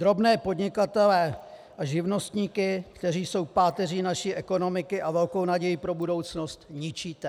Drobné podnikatele a živnostníky, kteří jsou páteří naší ekonomiky a velkou nadějí pro budoucnost, ničíte.